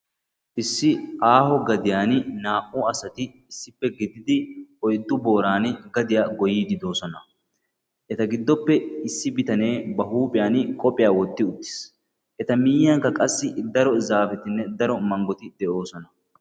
Issi aaho gadiyan naa"u asati issippe gididi oyddu booran gadiya goyyiiddi doosona. Eta giddoppe issi bitanee ba huuphiyan qophiya wottidi uttis. Eta miyyiyankka qassi daro zaafetinne daro manggoti de'oosona.